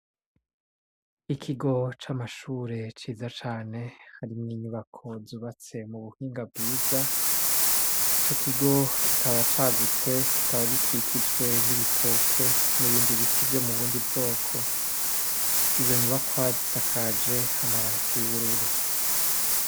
Ikigo c'amashure ciza cane hari n'inyubako zubatse mu buhinga bwiza ico kigo kikaba cagutse kikaba gikikijwe n'ibitoke n'ibindi biti vyo mu bundi bwoko. Izo nyubakwa zisakaje amabati y'ubururu.